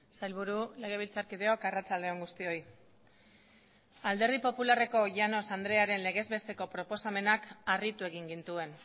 sailburu legebiltzarkideok arratsalde on guztioi alderdi popularreko llanos andrearen legez besteko proposamenak harritu egin gintuen